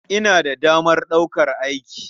Ina da damar ɗaukar aiki.